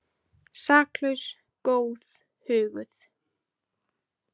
Saklaus, góð, huguð.